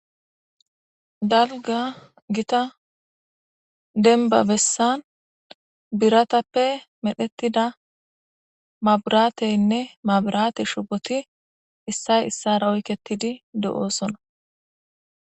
Dalga Gita denba bessan biratappe medhetida mabrateynne mabrate shuboti issay isara oyketidi de'osonna.